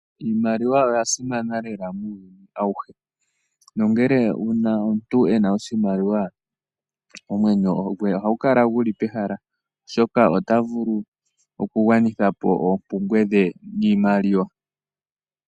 Iimaliwa oya simana lela muuyuni awuhe no ngele uuna omuntu ena oshimaliwa, omwenyo gwe ohagu kala guli pehala. Oshoka ota vulu okugwanitha po oompumbwe dhe niimaliwa.